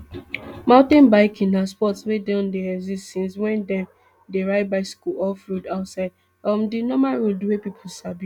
mountain biking na sport wey don dey exist since wen dem dey ride bicycles off road outside um di normal roads wey pipo sabi